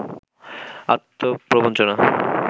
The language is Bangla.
আত্মপ্রবঞ্চনা